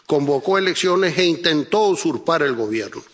convocó elecciones e intentó usurpar el Gobierno.